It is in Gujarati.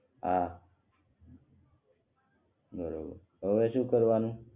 હા એ હવે શું કરવાનું